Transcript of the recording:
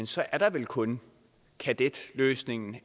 så er der vel kun kadetløsningen